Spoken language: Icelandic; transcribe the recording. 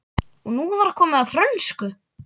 Og nú var komið að frönsku!